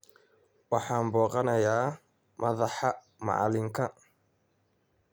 Waxaan booqanayaa madaxa macalinka